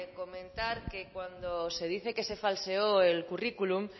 comentar que cuando se dice que se falseó el currículum